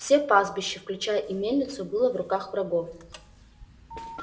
все пастбища включая и мельницу было в руках врагов